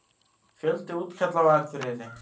Fjöldi útkalla á Akureyri